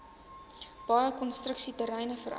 baie konstruksieterreine vereis